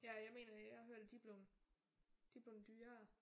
Ja jeg mener jeg har hørt at de er blevet de er blevet dyrere